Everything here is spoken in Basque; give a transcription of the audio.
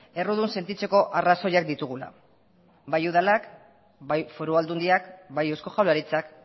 errudun sentitzeko arrazoiak ditugula bai udalak bai foru aldundiak bai eusko jaurlaritzak